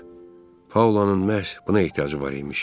Paulanın məhz buna ehtiyacı var imiş.